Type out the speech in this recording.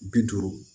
Bi duuru